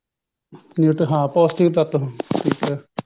ਪੋਸਟਿਕ ਤੱਤ ਹੁੰਦੇ ਹੈ ਠੀਕ ਹੈ